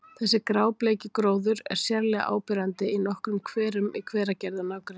Þessi grábleiki gróður er sérlega áberandi í nokkrum hverum í Hveragerði og nágrenni.